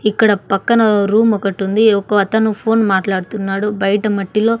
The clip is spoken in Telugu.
ఇక్కడ పక్కన రూమ్ ఒకటి ఉంది ఒక అతను ఫోన్ మాట్లాడుతున్నాడు బయట మట్టిలో.